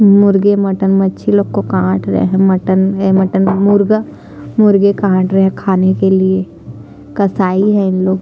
मुर्गे मटन मच्छी लोग को कटा रहे है मटन ए मटन मुर्गा मुर्गे काट रहे है खाने के लिए कसाई है इनलोग --